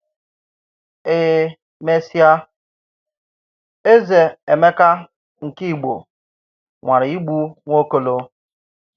E mesịa, Ézè Emeka nkè Ìgbo nwàrà ị̀gbù Nwaokolo.